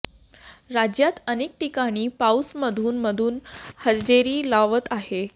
राज्यात अनेक ठिकाणी पाऊस मधून मधून हजेरी लावत आहे